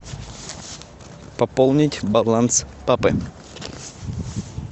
пополнить баланс папы